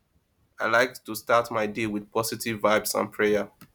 i like to start my day with positive vibes and prayer